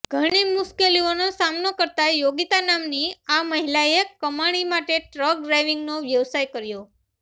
ઘણી મુશ્કેલીઓનો સામનો કરતા યોગિતા નામની આ મહિલાએ કમાણી માટે ટ્રક ડ્રાઈવિંગનો વ્યવસાય પસંદ કર્યો